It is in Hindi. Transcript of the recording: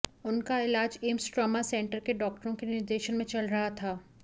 उनका इलाज एम्स ट्रॉमा सेंटर के डॉक्टरों के निर्देशन में चल रहा था